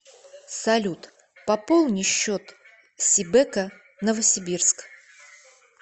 салют пополни счет сибэко новосибирск